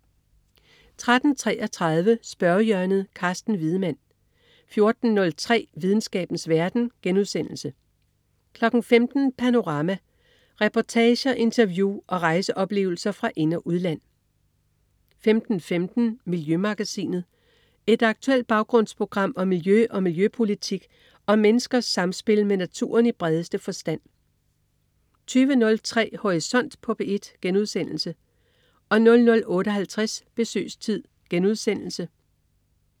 13.33 Spørgehjørnet. Carsten Wiedemann 14.03 Videnskabens verden* 15.00 Panorama. Reportager, interview og rejseoplevelser fra ind- og udland 15.15 Miljømagasinet. Et aktuelt baggrundsprogram om miljø og miljøpolitik og om menneskers samspil med naturen i bredeste forstand 20.03 Horisont på P1* 00.58 Besøgstid*